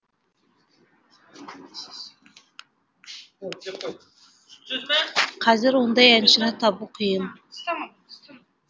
қазір ондай әншіні табу қиын